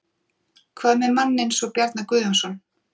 Hvað með mann eins og Bjarna Guðjónsson?